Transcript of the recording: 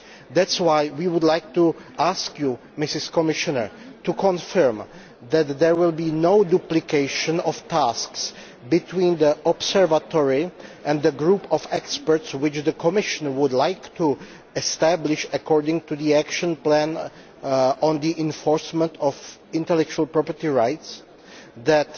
That is why we would like to ask the Commissioner to confirm that there will be no duplication of tasks between the observatory and the group of experts which the Commission would like to establish, according to the action plan on the enforcement of intellectual property rights, and that